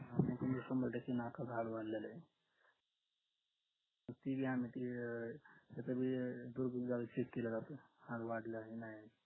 हम्म म तुम्ही शंबर टक्के नकाच हाड वडलेलंय तेभी आम्ही ते अं तस भी अं दुर्बीण लावून check केलं जात हाड वाढलाय नाय